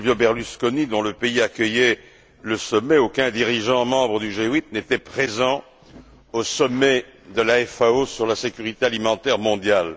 Silvio Berlusconi, dont le pays accueillait le sommet, aucun dirigeant membre du G8 n'était présent au sommet de la FAO sur la sécurité alimentaire mondiale.